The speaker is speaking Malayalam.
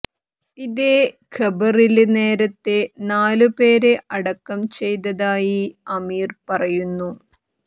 ഇതേ ഖബറില് നേരത്തെ നാലു പേരെ അടക്കം ചെയ്തതായി അമീര് പറയുന്നു